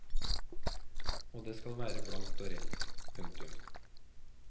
Og det skal være blankt og rent. punktum